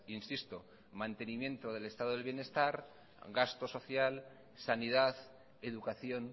insisto mantenimiento del estado de bienestar gasto social sanidad educación